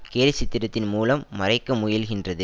கேலி சித்திரத்தின் மூலம் மறைக்க முயல்கின்றது